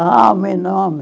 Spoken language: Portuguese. Ah, o meu nome!